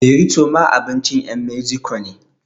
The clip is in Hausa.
Borito ma abincin ƴan meziko ne